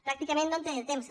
pràcticament no em queda temps